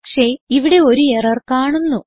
പക്ഷേ ഇവിടെ ഒരു എറർ കാണുന്നു